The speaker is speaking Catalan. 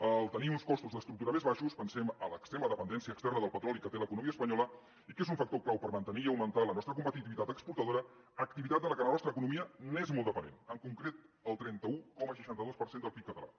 en tenir uns costos d’estructura més baixos pensem en l’extrema dependència externa del petroli que té l’economia espanyola i que és un factor clau per mantenir i augmentar la nostra competitivitat exportadora activitat de què la nostra economia és molt dependent en concret el trenta un coma seixanta dos per cent del pib català